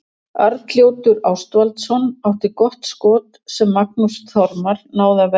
Arnljótur Ástvaldsson átti gott skot sem Magnús Þormar náði að verja vel.